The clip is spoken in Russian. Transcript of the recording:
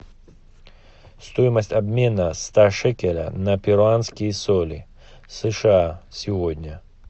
стоимость обмена ста шекеля на перуанские соли сша сегодня